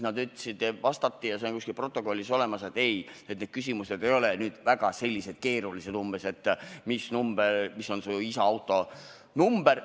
Nad vastasid – see on kuskil protokollis olemas –, et ei, need küsimused ei ole väga keerulised, umbes nii, et mis on su isa auto number.